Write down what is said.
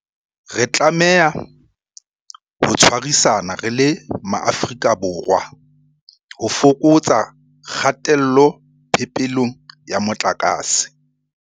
Re tlameha ho tshwarisana re le Maafrika Borwa ho fokotsa kgatello phepelong ya motlakase.